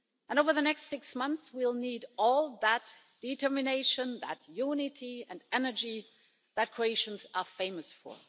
Over the next six months, we will need all that determination, that unity and energy that Croatians are famous for.